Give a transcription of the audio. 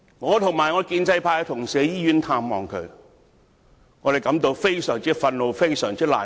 我和我的建制派同事前往醫院探望他，感到非常憤怒和難過。